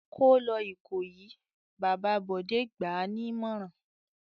"Kó lọ Ìkòyí!" Bàbá Bọ̀dé gbà á nímọ̀ràn.